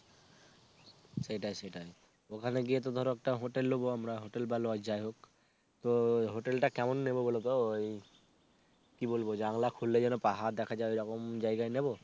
সেটাই সেটাই ওখানে গিয়ে তো ধরো একটা hotel লোবো আমরা hotel বা লজ যাইহোক তো hotel টা কেমন নেব বলতো ওই কি বলবো জানলা খুললে যেন পাহাড় দেখা যায় ওরকম জায়গায় নেবো